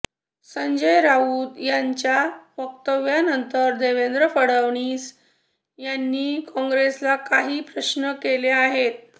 संजय राऊत यांच्या वक्तव्यानंतर देवेंद्र फडणवीस यांनी काँग्रसेला काही प्रश्न केले आहेत